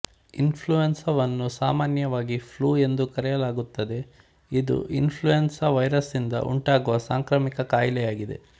ಇನ್ಫ್ಲುಯೆನ್ಸವನ್ನು ಸಾಮಾನ್ಯವಾಗಿ ಫ್ಲೂ ಎಂದು ಕರೆಯಲಾಗುತ್ತದೆ ಇದು ಇನ್ಫ್ಲುಯೆನ್ಸ ವೈರಸ್ನಿಂದ ಉಂಟಾಗುವ ಸಾಂಕ್ರಾಮಿಕ ಕಾಯಿಲೆಯಾಗಿದೆ